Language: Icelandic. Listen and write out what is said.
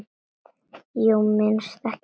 Jú, minnstu ekki á það.